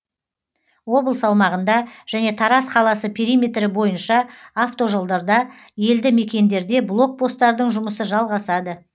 облыс аумағында және тараз қаласы периметрі бойынша автожолдарда елді мекендерде блок посттардың жұмысы жалғасады